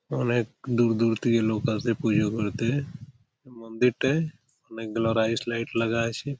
অনেক দূর দূর থেকে লোক পুজোগুলোতে মন্দিরটাই অনেক গুলো রাইস লাইট লাগা আছে।